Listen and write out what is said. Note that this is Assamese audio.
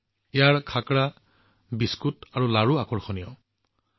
মানুহে ইয়াৰ খাখৰা বিস্কুট আৰু লাৰু ভাল পাইছে